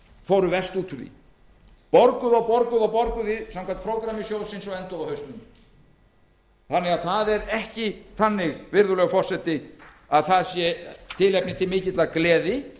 fóru verst út úr því borguðu og borguðu og borguðu samkvæmt prógrammi sjóðsins og enduðu á hausnum það er því ekki þannig virðulegur forseti að tilefni sé til mikillar gleði